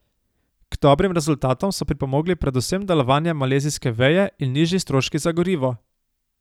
K dobrim rezultatom so pripomogli predvsem delovanje malezijske veje in nižji stroški za gorivo.